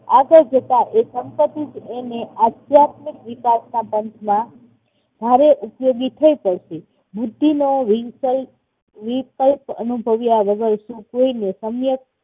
આગળ જતા એ સંપત્તિ જ એને આધ્યાત્મિક વિકાસના પંથમાં ભારે ઉપયોગી થઇ પડશે. બુદ્ધિ નો વિકલ્પ, વિકલ્પ અનુભવ્યા વગર કોઈને